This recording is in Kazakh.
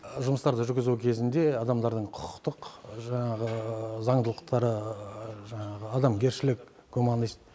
жұмыстарды жүргізу кезінде адамдардың құқықтық жаңағы заңдылықтары жаңағы адамгершілік гуманность